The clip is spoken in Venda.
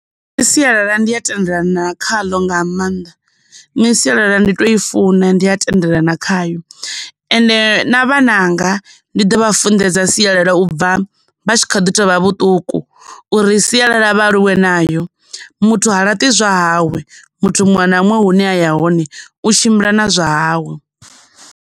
Nne sialala ndi a tendelana khaḽo nga maanḓa, nṋe sialala ndi to i funa ndi a tendelana khayo, ende na vhananga ndi ḓo vha funḓedza sialala vha tshi kha ḓi tovha vhuṱuku uri sialala vha aluwe nayo, muthu ha laṱi zwa hawe, muthu muṅwe na muṅwe hune a ya hone u tshimbila na zwa hawe.